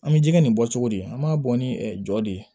An bɛ jɛgɛ nin bɔ cogo di an b'a bɔ ni jɔ de ye